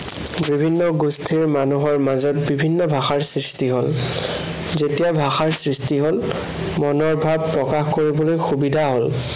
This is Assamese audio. বিভিন্ন গোষ্ঠাৰ মানুহৰ মাজত বিভিন্ন ভাষাৰ সৃষ্টি হল। যেতিয়া ভাষাৰ সৃষ্টি হল, মনৰ ভাৱ প্ৰকাশ কৰিবলৈ সুবিধা হল।